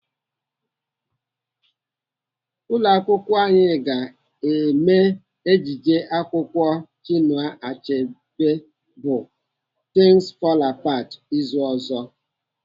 Ụlọakwụkwọ anyị ga-eme ejije akwụkwọ Chinua Chebe bụ Things fall apart izu ụka ọzọ.